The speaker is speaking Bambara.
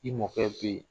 I mɔkɛ bɛ ye